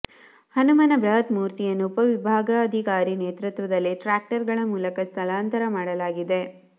ಹನುಮನ ಬೃಹತ್ ಮೂರ್ತಿಯನ್ನು ಉಪವಿಭಾಗಾಧಿಕಾರಿ ನೇತೃತ್ವದಲ್ಲಿ ಟ್ರ್ಯಾಕ್ಟರ್ ಗಳ ಮೂಲಕ ಸ್ಥಳಾಂತರ ಮಾಡಲಾಗಿದೆ